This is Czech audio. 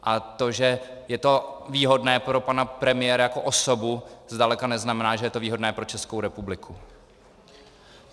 A to, že je to výhodné pro pana premiéra jako osobu, zdaleka neznamená, že je to výhodné pro Českou republiku.